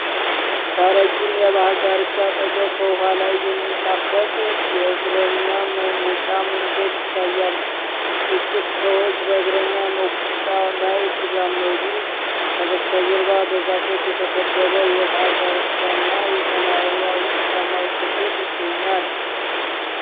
ከረዥም የባህር ዳርቻ አጠገብ በውሃ ላይ የሚንሳፈፍ የእግረኛ መውጫ መንገድ ይታያል። ጥቂት ሰዎች በእግረኛ መውጫው ላይ ሲራመዱ፣ ከበስተጀርባ በዛፎች የተከበበ የባህር ዳርቻና የሰማያዊ ሰማይ ክፍል ይገኛል።